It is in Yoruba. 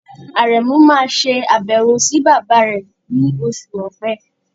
Àrẹ̀muh máa ṣe àbẹ̀wò sí bàbá rẹ̀ ní oṣù Ọ̀pẹ.